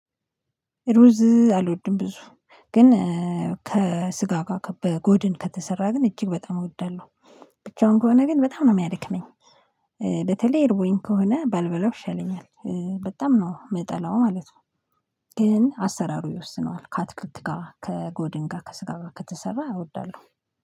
ሩዝ አልወድም ብዙ። ግን ከስጋ ጋር በጎድን ከተሰራ ግን እጅግ በጣም እወዳለሁ። ብቻውን ከሆነ ግን በጣም ነው የሚያደክመኝ። በተለይ እርቦኝ ከሆነ ባልበላው ይሸለኛል። በጣም ነው ምጠላው ማለት ነው። ግን አሰራሩ ይወስነዋል፤ ከአትክልት ጋር፤ ከጎድን ጋር፤ ከስጋ ከተሰራ አወዳለሁ።